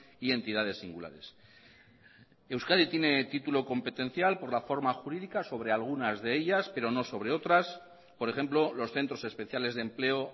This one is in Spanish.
y entidades singulares euskadi tiene título competencial por la forma jurídica sobre algunas de ellas pero no sobre otras por ejemplo los centros especiales de empleo